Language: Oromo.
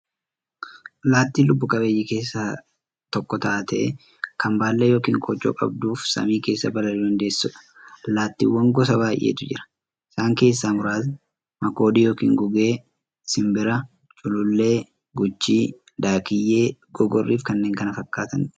Allaattiin lubbuu qabeeyyii keessaa tokko taatee, kan baallee yookiin koochoo qabduufi samii keessaa balali'uu dandeessuudha. Allaattiiwwan gosa baay'eetu jira. Isaan keessaa muraasni; makoodii yookiin gugee, simbira, culullee, guchii, daakkiyyee, gogorriifi kanneen kana fakkaataniidha.